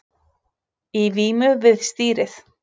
Í vímu við stýrið